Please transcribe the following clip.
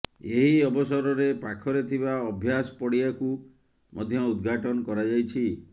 ଏହି ଅବସରରେ ପାଖରେ ଥିବା ଅଭ୍ୟାସ ପଡ଼ିଆକୁ ମଧ୍ୟ ଉଦଘାଟନ କରାଯାଇଛି